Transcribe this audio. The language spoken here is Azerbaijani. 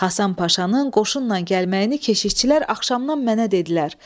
Həsən Paşanın qoşunla gəlməyini keşişçilər axşamdan mənə dedilər.